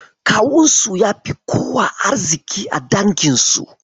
Kawunsu ya fi kowa arziƙi a danginsu.